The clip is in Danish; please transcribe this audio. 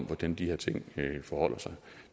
hvordan de her ting forholder sig